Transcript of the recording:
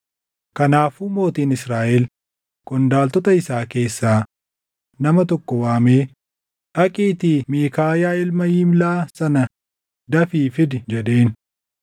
Kanaafuu mootiin Israaʼel qondaaltota isaa keessaa nama tokko waamee, “Dhaqiitii Miikaayaa ilma Yimlaa sana dafii fidi” jedheen.